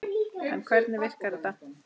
En hvernig virkar þetta?